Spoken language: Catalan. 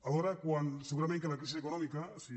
alhora segurament que la crisi econòmica si